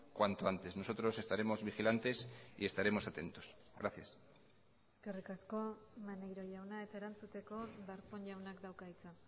cuanto antes nosotros estaremos vigilantes y estaremos atentos gracias eskerrik asko maneiro jauna eta erantzuteko darpón jaunak dauka hitza